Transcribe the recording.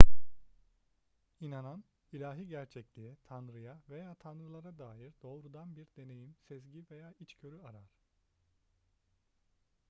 i̇nanan ilahi gerçekliğe/tanrıya veya tanrılara dair doğrudan bir deneyim sezgi veya içgörü arar